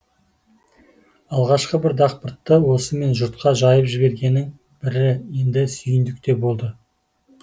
алғашқы бір дақпыртты осымен жұртқа жайып жібергеннің бірі енді сүйіндік те болды